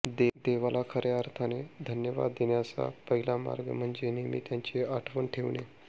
देवाला खऱ्या अर्थाने धन्यवाद देण्याचा पहिला मार्ग म्हणजे नेहमी त्याची आठवण ठेवणे